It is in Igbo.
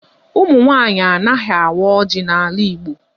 Ụmụ nwaanyị anaghị awa ọjị n'ala Igbo.